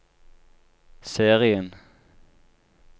serien